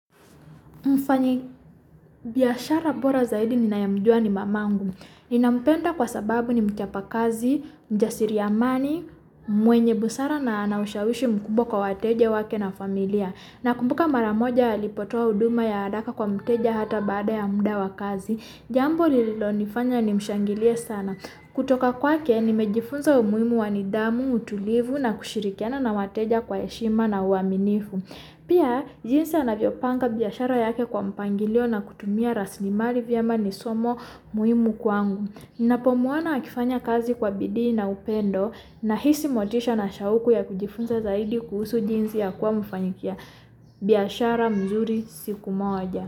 Mfanyi, biashara bora zaidi ninayemujua ni mamangu. Ninampenda kwa sababu ni mchapa kazi, mjasiri amani, mwenye busara na anaushawishi mkubwa kwa wateje wake na familia. Nakumbuka mara moja, alipotoa huduma ya haraka kwa mteja, hata baada ya muda wa kazi. Jambo lililonifanya nimshangilie sana. Kutoka kwake, ni mejifunza umuhimu wa nidhamu, utulivu na kushirikiana na wateja kwa heshima na uaminifu. Pia, jinsi anavyo panga biashara yake kwa mpangilio na kutumia raslimali vyema ni somo mujimu kwangu. Ninapomwona akifanya kazi kwa bidii na upendo, nahisi motisha na shauku ya kujifunza zaidi kuhusu jinsi ya kwa mfanyibiashara mzuri siku moja.